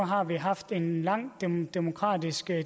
har vi haft en lang demokratisk